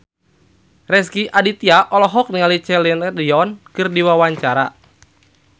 Rezky Aditya olohok ningali Celine Dion keur diwawancara